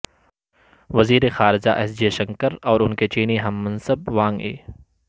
وزیر خارجہ S Jaishankar اور ان کے چینی ہم منصب وانگ ای